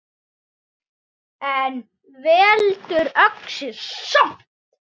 En veldur öxi samt!